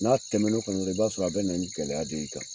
N'a tɛmɛ n'o fɛnɛ la, i b'a sɔrɔ a bɛna ni gɛlɛya de y'i kan.